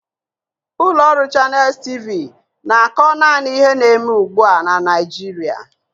Ụlọ ọrụ Channels T.V na-akọ naanị ihe ndị na-eme ugbu a na Naịjirịa